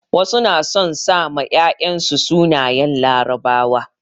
Wasu na son sa ma 'ya'yan su sunayen larabawa.